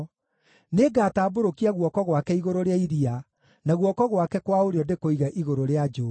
Nĩngatambũrũkia guoko gwake igũrũ rĩa iria, na guoko gwake kwa ũrĩo ndĩkũige igũrũ rĩa njũũĩ.